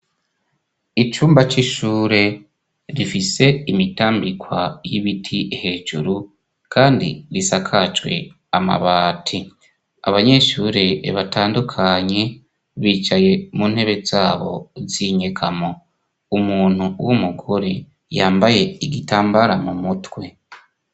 icumba c'ishure rifise imitambikwa y'ibiti hejuru kandi risakajwe amabati abanyeshure batandukanye bicaye mu ntebe zabo z'inyegamo umuntu w'umugore yambaye igitambara mu mutwe